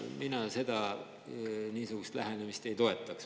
Mina niisugust lähenemist ei toeta.